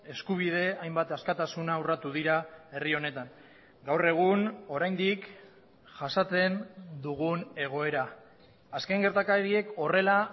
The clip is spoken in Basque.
eskubide hainbat askatasuna urratu dira herri honetan gaur egun oraindik jasaten dugun egoera azken gertakariek horrela